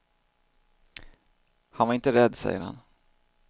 Han var inte rädd, säger han.